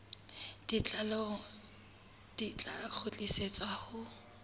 botlalo di tla kgutlisetswa ho